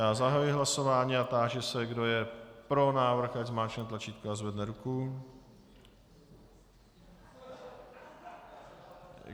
Já zahajuji hlasování a táži se, kdo je pro návrh, ať zmáčkne tlačítko a zvedne ruku.